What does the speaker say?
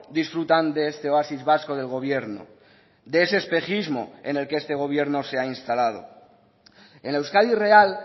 disfrutan de este oasis vasco del gobierno de ese espejismo en el que este gobierno se ha instalado en la euskadi real